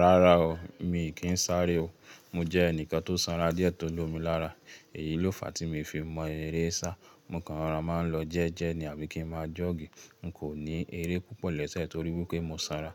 Rárá o, mi kì í sáré o. Mo jẹ́ ẹnìkan tó san ra dí ẹ̀ tó lomi lára. Èyí ló fàá tí mo fi mọ eré sá. Mo kanran má n lọ jẹ́jẹ́ ní àbí kí n má jọ́ọ̀gì. N kò ní eré púpọ̀ lẹ́sẹ̀ torí wípé mo sanra.